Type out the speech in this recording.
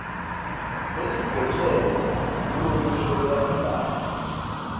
lelidvwetjelwe kulomusho lolandzelako